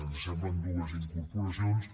ens semblen dues incorporacions